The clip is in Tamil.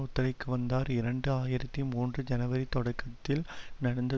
ஒத்துழைக்க வந்தார் இரண்டு ஆயிரத்தி மூன்று ஜனவரி தொடக்கத்தில் நடந்த